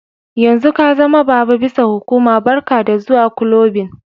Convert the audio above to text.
Yanzun ka zama baba bisa hukuma, barka da zuwa kulobin.